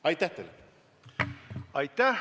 Aitäh!